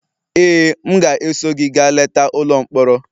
Ee, m ga-eso gị gaa leta ụlọ mkpọrọ.